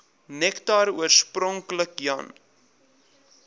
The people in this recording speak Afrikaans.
nektar oorspronklik jan